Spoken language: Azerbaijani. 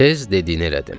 Tez dediyini elədim.